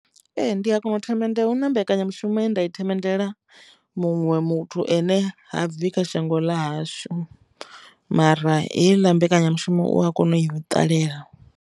Ee, ndi a kona u themendele hu na mbekanyamushumo ye nda i themendela muṅwe muthu ane ha bvi kha shango ḽa hashu mara heiḽa mbekanyamushumo u a kona u i ṱalela.